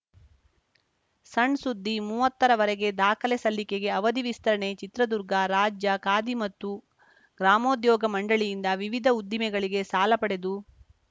ಸಣ್‌ ಸುದ್ದಿ ಮೂವತ್ತರ ವರೆಗೆ ದಾಖಲೆ ಸಲ್ಲಿಕೆಗೆ ಅವಧಿ ವಿಸ್ತರಣೆ ಚಿತ್ರದುರ್ಗ ರಾಜ್ಯ ಖಾದಿ ಮತ್ತು ಗ್ರಾಮೋದ್ಯೋಗ ಮಂಡಳಿಯಿಂದ ವಿವಿಧ ಉದ್ದಿಮೆಗಳಿಗೆ ಸಾಲ ಪಡೆದು